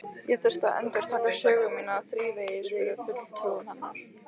Ég þurfti að endurtaka sögu mína þrívegis fyrir fulltrúum hennar.